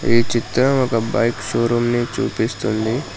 ఈ చిత్రం ఒక బైక్ షోరూమ్ ని చూపిస్తుంది.